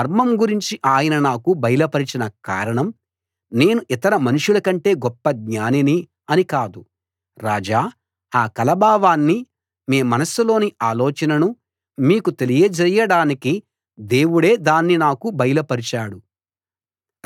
ఈ మర్మం గురించి ఆయన నాకు బయలుపరచిన కారణం నేను ఇతర మనుషులకంటే గొప్ప జ్ఞానిని అని కాదు రాజా ఆ కల భావాన్ని మీ మనస్సులోని ఆలోచననూ మీకు తెలియజేయడానికి దేవుడే దాన్ని నాకు బయలుపరిచాడు